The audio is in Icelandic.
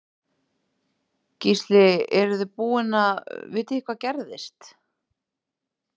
Gísli eruð þið búin að, vitið þið hvað gerðist?